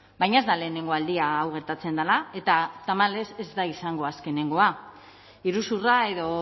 baina ez da lehenengo aldia hau gertatzen dela eta tamalez ez da izango azkenengoa iruzurra edo